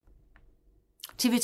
TV 2